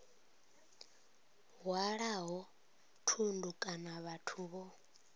hwalaho thundu kana vhathu vho